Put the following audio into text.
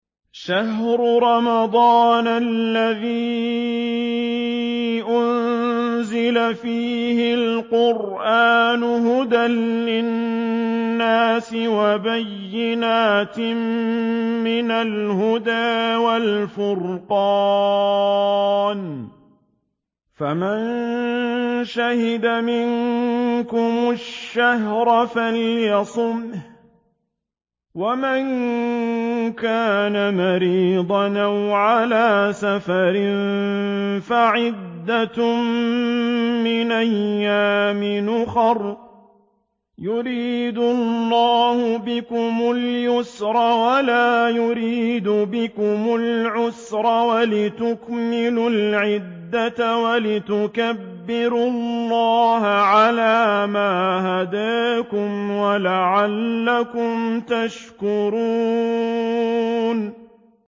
شَهْرُ رَمَضَانَ الَّذِي أُنزِلَ فِيهِ الْقُرْآنُ هُدًى لِّلنَّاسِ وَبَيِّنَاتٍ مِّنَ الْهُدَىٰ وَالْفُرْقَانِ ۚ فَمَن شَهِدَ مِنكُمُ الشَّهْرَ فَلْيَصُمْهُ ۖ وَمَن كَانَ مَرِيضًا أَوْ عَلَىٰ سَفَرٍ فَعِدَّةٌ مِّنْ أَيَّامٍ أُخَرَ ۗ يُرِيدُ اللَّهُ بِكُمُ الْيُسْرَ وَلَا يُرِيدُ بِكُمُ الْعُسْرَ وَلِتُكْمِلُوا الْعِدَّةَ وَلِتُكَبِّرُوا اللَّهَ عَلَىٰ مَا هَدَاكُمْ وَلَعَلَّكُمْ تَشْكُرُونَ